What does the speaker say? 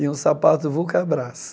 E um sapato Vulcabras.